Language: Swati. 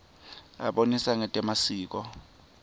abonisa ngetemasiko